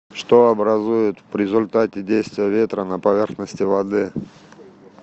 что образует в результате действия ветра на поверхности воды